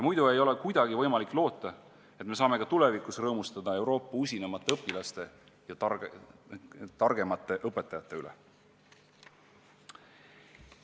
Muidu ei ole kuidagi võimalik loota, et me saame ka tulevikus rõõmustada Euroopa usinaimate õpilaste ja targimate õpetajate üle.